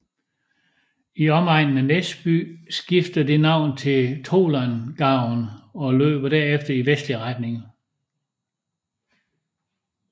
I omegnen af Näsby skifter den navn til Tolångaån og løber derefter i vestlig retning